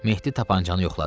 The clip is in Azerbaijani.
Mehdi tapançanı yoxladı.